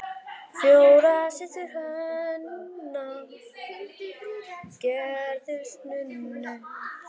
Fjórar systur hennar gerðust nunnur.